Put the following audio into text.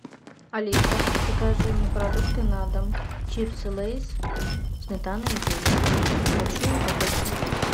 алиса закажи мне продукты на дом чипсы лейс сметана и зелень большую упаковку